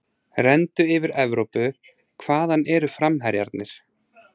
Renndu yfir Evrópu, hvaðan eru framherjarnir?